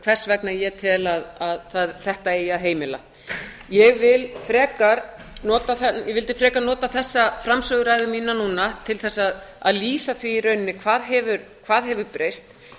hvers vegna ég tel að þetta eigi að heimila ég vildi frekar nota þessa framsöguræðu mína núna til þess að lýsa því í rauninni hvað hefur breyst